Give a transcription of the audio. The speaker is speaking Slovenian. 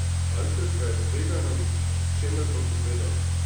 Alfred ga je zbegano in čemerno pogledal.